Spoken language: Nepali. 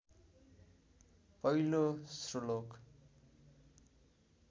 पहिलो श्लोक